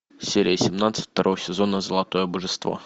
серия семнадцать второго сезона золотое божество